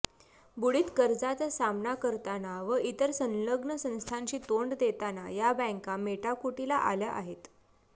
बुडित कर्जाचा सामना करताना व इतर संलग्न संस्थांशी तोंड देताना या बँका मेटाकुटीला आल्या आहेत